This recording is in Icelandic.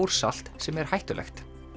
bórsalt sem er hættulegt